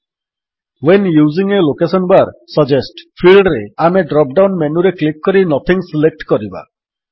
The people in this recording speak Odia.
when using the location bar suggest ଫିଲ୍ଡରେ ଆମେ ଡ୍ରପ୍ ଡାଉନ୍ ମେନୁରେ କ୍ଲିକ୍ କରି ନଥିଂ ସିଲେକ୍ଟ କରିବା